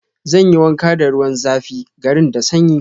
Zan yi wanka da ruwan zafi, garin da sanyi.